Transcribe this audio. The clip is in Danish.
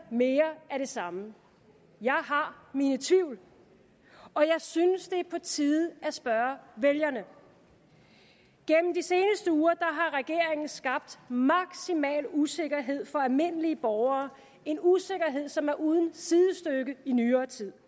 mere af det samme jeg har mine tvivl og jeg synes det er på tide at spørge vælgerne gennem de seneste uger har regeringen skabt maksimal usikkerhed for almindelige borgere en usikkerhed som er uden sidestykke i nyere tid